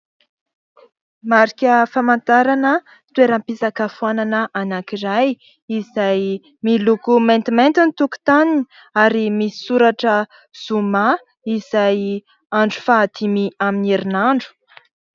Marika famantarana toeram-pisakafoanana anankiray izay miloko maintimainty ny tokotaniny ary misy soratra zoma izay andro fahadimy amin'ny herinandro.